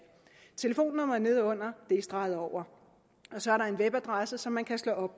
telefonnummeret nedenunder er streget over og så er der en webadresse som man kan slå